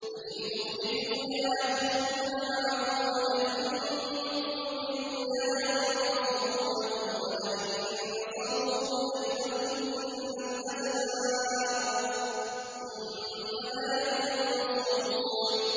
لَئِنْ أُخْرِجُوا لَا يَخْرُجُونَ مَعَهُمْ وَلَئِن قُوتِلُوا لَا يَنصُرُونَهُمْ وَلَئِن نَّصَرُوهُمْ لَيُوَلُّنَّ الْأَدْبَارَ ثُمَّ لَا يُنصَرُونَ